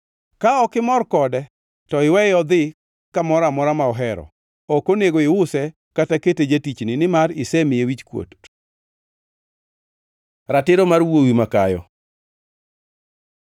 Ka ok imor kode, to iweye odhi kamoro amora ma ohero. Ok onego iuse kata kete jatichni, nimar isemiye wichkuot. Ratiro mar wuowi makayo